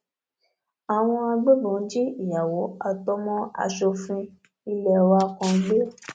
àwọn agbébọn jí ìyàwó àtọmọ asòfin ilé wa kan gbé